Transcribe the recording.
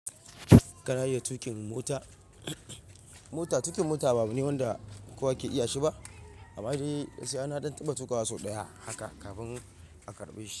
Ka iya tuƙin mota? Mota, tuƙin mota ba abu ne wanda kowa ke iya shi ba, amma dai gaskiya na ɗan tabba tuƙa sau ɗaya haka, kafin a karɓe shi.